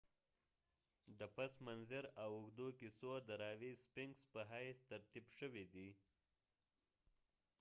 sphinx د پس منظر او اوږدو کیسو د راوي په حیث ترتیب شوی دی